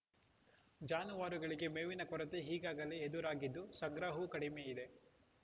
ಜಾನುವಾರುಗಳಿಗೆ ಮೇವಿನ ಕೊರತೆ ಈಗಾಗಲೇ ಎದುರಾಗಿದ್ದು ಸಂಗ್ರಹವೂ ಕಡಿಮೆಯಿದೆ